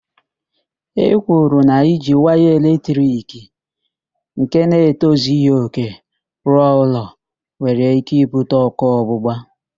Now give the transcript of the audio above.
E kwuru na iji waya eletrik nke na-etozighi òkè rụọ ụlọ were ike ibute ókụ́ ọgbụgba.